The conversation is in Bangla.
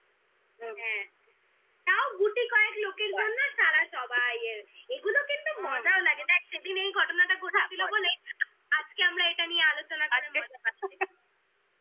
হ্যাঁ তাও গুটি কয়েক লোকের জন্য সারা সবাই এর. এগুলো কিন্তু মজাও লাগে দ্যাখ সেদিন এই ঘটনাটা ঘটেছিল বলে আজকে আমরা এটা নিয়ে আলোচনা করছি